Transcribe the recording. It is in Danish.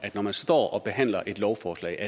når man står og behandler et lovforslag